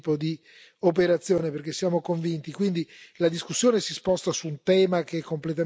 Noi invece discutiamo sul come fare questo tipo di operazione perché siamo convinti.